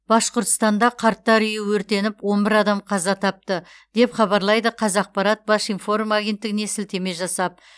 башқұртстанда қарттар үйі өртеніп он бір адам қаза тапты деп хабарлайды қазақпарат башинформ агенттігіне сілтеме жасап